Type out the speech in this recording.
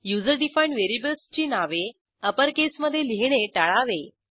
user defined व्हेरिएबल्सची नावे अप्परकेसमधे लिहीणे टाळावे